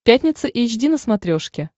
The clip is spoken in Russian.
пятница эйч ди на смотрешке